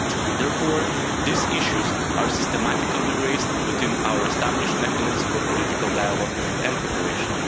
Therefore, these issues are systematically raised within our established mechanisms for political dialogue and cooperation.